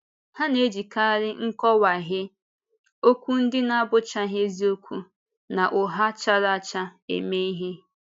Ha na-ejikarị nkọ̀wáhìé, okwu ndị na-abụchaghị eziokwu, na ụgha chára áchá eme ihe.